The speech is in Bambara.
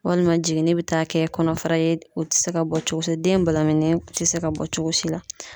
Walima jiginni be taa kɛ kɔnɔfara ye, o te se ka bɔ cogo si ,den balaminilen te se ka bɔ cogo si la.